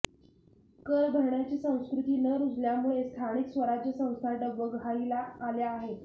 कर भरण्याची संस्कृती न रुजल्यामुळे स्थानिक स्वराज्य संस्था डबघाईला आल्या आहेत